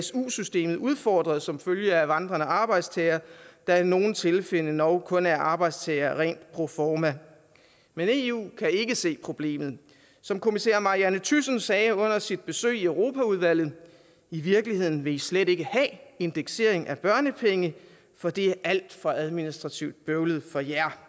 su systemet udfordret som følge af vandrende arbejdstagere der i nogle tilfælde endog kun er arbejdstagere rent proforma men eu kan ikke se problemet som kommissær marianne thyssen sagde under sit besøg i europaudvalget i virkeligheden vil i slet ikke have indeksering af børnepenge for det er alt for administrativt bøvlet for jer